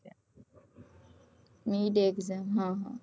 midexam હ હ